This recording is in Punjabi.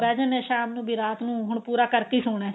ਫ਼ਿਰ ਬਿਹ ਜਾਨੇ ਸ਼ਾਮ ਨੂੰ ਕੀ ਰਾਤ ਨੂੰ ਪੂਰਾ ਕਰਕੇ ਹੀ ਸੋਣਾ